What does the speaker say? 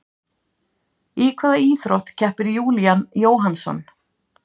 Í hvaða íþrótt keppir Júlían Jóhannsson?